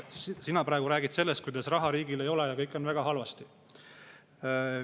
Sina praegu räägid, kuidas riigil raha ei ole ja kõik on väga halvasti.